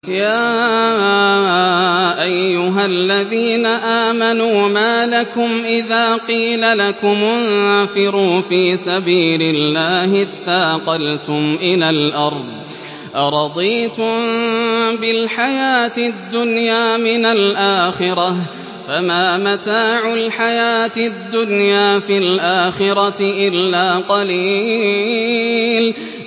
يَا أَيُّهَا الَّذِينَ آمَنُوا مَا لَكُمْ إِذَا قِيلَ لَكُمُ انفِرُوا فِي سَبِيلِ اللَّهِ اثَّاقَلْتُمْ إِلَى الْأَرْضِ ۚ أَرَضِيتُم بِالْحَيَاةِ الدُّنْيَا مِنَ الْآخِرَةِ ۚ فَمَا مَتَاعُ الْحَيَاةِ الدُّنْيَا فِي الْآخِرَةِ إِلَّا قَلِيلٌ